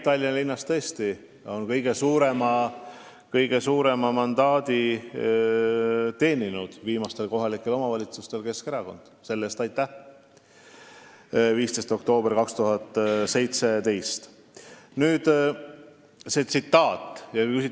Tallinna linnas, millest jutt käib, teenis viimastel kohalike omavalitsuste valimistel, 15. oktoobril 2017, kõige suurema mandaadi tõesti Keskerakond.